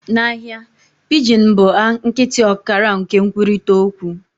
Na ahịa, pidgin bụ a nkịtị ọkara nke nkwurịta okwu